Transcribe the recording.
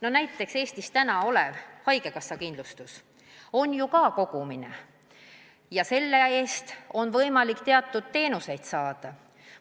Ja näiteks Eestis kehtiv haigekassa kindlustus on ju ka raha kogumine, selle eest on võimalik teatud teenuseid saada.